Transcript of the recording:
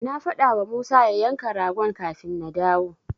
Na faɗawa Musa ya yanka ragon kafin na dawo.